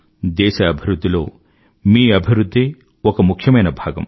దేశ అభివృధ్ధిలో మీ అభివృధ్ధే ఒక ముఖ్యమైన భాగం